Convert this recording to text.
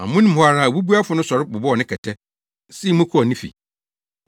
Amono mu hɔ ara, obubuafo no sɔre bobɔw ne kɛtɛ, sii mu kɔɔ ne fi!